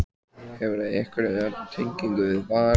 Hefurðu einhverja tengingu við Val?